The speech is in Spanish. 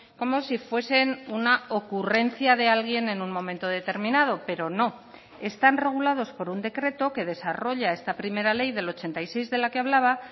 como si fuesen una ocurrencia de alguien en un momento determinado pero no están regulados por un decreto que desarrolla esta primera ley del ochenta y seis de la que hablaba